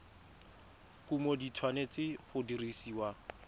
kumo di tshwanetse go dirisiwa